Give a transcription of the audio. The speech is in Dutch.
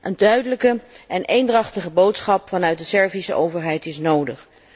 Een duidelijke en eendrachtige boodschap vanuit de Servische overheid is nodig.